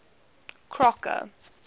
crocker